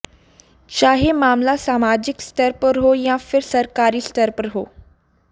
चाहे मामला सामाजिक स्तर पर हो या फिर सरकारी स्तर पर हो